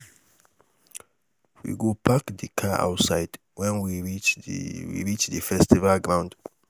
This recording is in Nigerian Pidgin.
we go park di car outside wen we reach di we reach di festival ground.